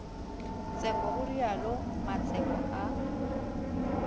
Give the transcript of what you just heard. tseko ho realo mmatseko a